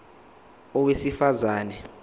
a owesifaz ane